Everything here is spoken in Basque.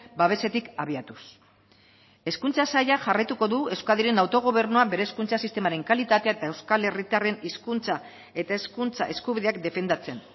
babesetik abiatuz hezkuntza saila jarraituko du euskadiren autogobernua bere hezkuntza sistemaren kalitatea eta euskal herritarren hizkuntza eta hezkuntza eskubideak defendatzen